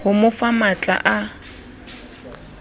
ho mo fa matl a